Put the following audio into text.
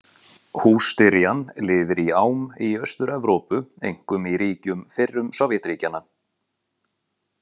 Hússtyrjan lifir í ám í Austur-Evrópu, einkum í ríkjum fyrrum Sovétríkjanna.